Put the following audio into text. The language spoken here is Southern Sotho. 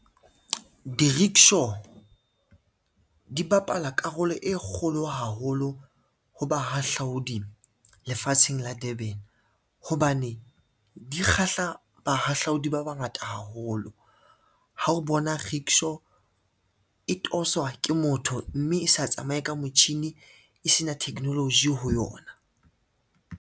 Di-rickshaw, di bapala karolo e kgolo haholo ho bahahlaodi lefatsheng la Durban, hobane di kgahla bahahlaodi ba bangata haholo. Ha o bona rickshaw e toswa ke motho, mme e sa tsamaye ka motjhini e sena technology ho yona.